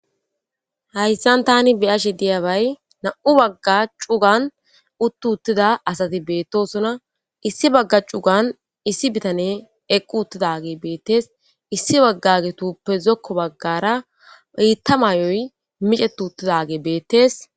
Haysan Tani beyashe diyabay nam'u baga cugan utti uttida asati betosona issi Baga cugan issi nitaney eqi uttidagey betes issi bagagetuppe zokko bagara bitta